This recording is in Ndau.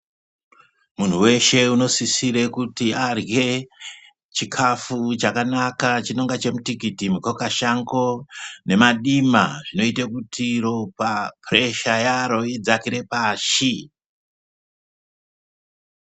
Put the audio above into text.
Munhu weshe unosisire kuti arye chikafu chakanaka chinonga chemutikiti, mukakashango nemadima zvinoite kuti ropa puresha yaro idzakire pashi.